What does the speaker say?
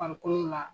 Farikolo la